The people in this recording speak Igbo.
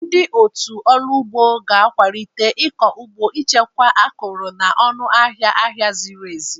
Ndị otu ndị ọrụ ugbo ga-akwalite ịkọ ugbo, ichekwa akụrụngwa, na ọnụ ahịa ahịa ziri ezi.